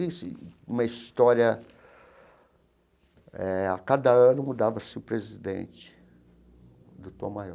Uma história eh... A cada ano mudava-se o presidente do Tom Maior.